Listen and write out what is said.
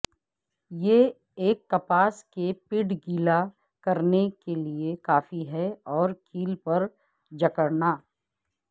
یہ ایک کپاس کے پیڈ گیلا کرنے کے لئے کافی ہے اور کیل پر جکڑنا